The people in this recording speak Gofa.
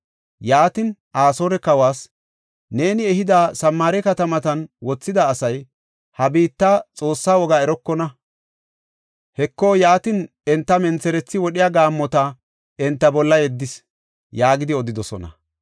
Yaatin, Asoore kawas, “Neeni ehada Samaare katamatan wothida asay, ha biitta xoossaa wogaa erokona. Heko, yaatin, enta mentherethi wodhiya gaammota enta bolla yeddis” yaagidi odidosona.